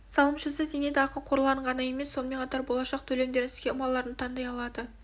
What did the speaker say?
салымшысы зейнетақы қорларын ғана емес сонымен қатар болашақ төлемдердің схемаларын да таңдай алады